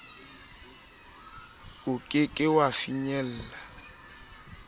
o ke ke wa finyella